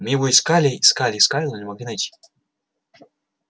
мы его искали искали искали но не могли найти